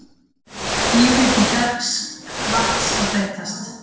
Lífríki ferskvatns að breytast